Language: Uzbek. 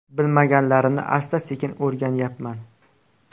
Bilmaganlarimni asta-sekin o‘rganyapman.